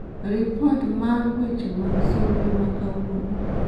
ripot maa ma weche mag sulwe ma kawuono